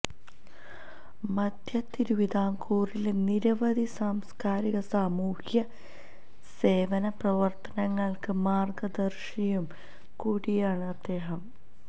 മധ്യതിരുവിതാംകൂറിലെ നിരവധി സാംസ്കാരിക സാമൂഹ്യ സേവന പ്രവര്ത്തനങ്ങള്ക്ക് മാര്ഗ്ഗദര്ശിയും കൂടിയാണ് അദ്ദേഹം